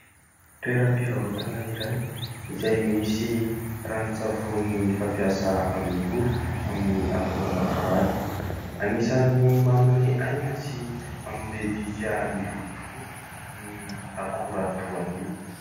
Toeram-pivarotana iray izay misy ranon-tsavony fampiasa amin'ny volo amin'ny akora "natoraly" anisany manome aina sy manome bika ny volo tokoa ny akora toa io.